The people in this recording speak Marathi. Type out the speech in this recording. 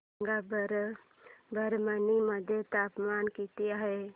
सांगा बरं परभणी मध्ये तापमान किती आहे